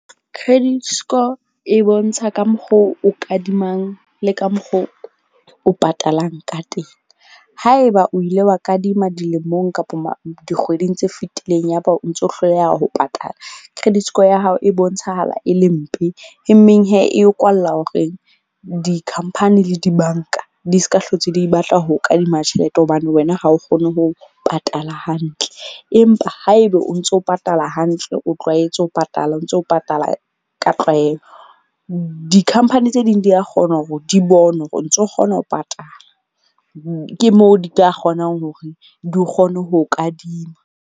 Credit score e bontsha ka mokgo o kadimang le ka mokgo o patalang ka teng. Haeba o ile wa kadima dilemong kapa dikgweding tse fitileng ya ba o ntso hloleha ho patala. Credit Score ya hao e bontshahala e le mpe e meng e o kwalla horeng di-company le di-bank-a di ska, hlotse di batla ho kadima tjhelete hobane wena ha o kgone ho patala hantle. Empa haebe o ntso patala hantle, o tlwaetse ho patala o ntso patala ka tlwaelo, di-company tse ding di ya kgona hore di bone hore o ntso kgona ho patala. Ke mo di ka kgonang hore di kgone ho kadima.